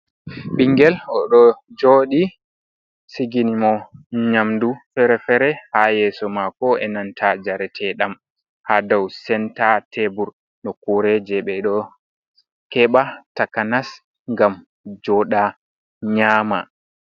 "Ɓiingel" oɗo jooɗi sigini mo nyamdu fere-fere ha yeso maako enanta njarete ɗam ha dou senta tebur nokkure je ɓeɗo keɓa takanas ngam jooɗa nyama.